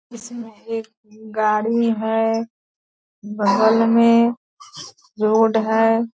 इसमें एक गाड़ी है बगल में रोड है।